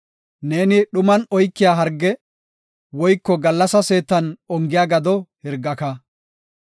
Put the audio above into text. Neeni dhuman oykiya harge, woyko gallasa seetan ongiya gado hirgaka.